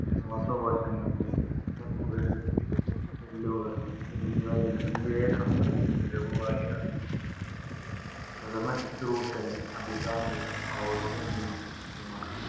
ശ്വാസകോശങ്ങള്‍, രക്തക്കുഴലുകള്‍, എല്ലുകള്‍ എന്നിവയെ സംബന്ധിച്ച് ലഘുവായി അറിഞ്ഞിരിക്കുന്നത് പ്രഥമശുശ്രൂഷകന് അഭികാമ്യവും, കൗതുകം ജനിപ്പിക്കുന്നതുമാണ്‌.